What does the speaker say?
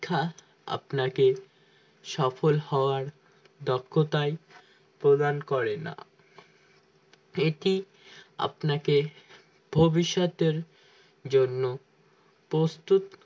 আপনাকে সফল হওয়ার দক্ষতায় প্রদান করেনা এটি আপনাকে ভবিষ্যতের জন্য প্রস্তুত